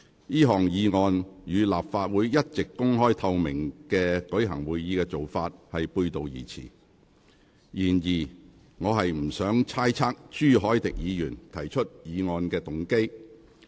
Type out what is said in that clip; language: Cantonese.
這項議案與立法會一直公開透明舉行會議的做法背道而馳。然而，我不想猜測朱凱廸議員提出議案的動機。